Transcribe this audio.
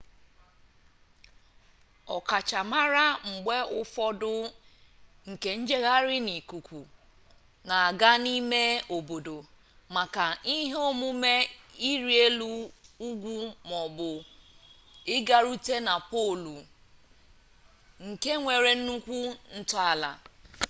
ọkachamara mgbe ụfọdụ nke njegharị n'ikuku na-aga n'ime ime obodo maka ihe omume iri elu ugwu ma ọ bụ ịgarute na polu nke nwere nnukwu ntọala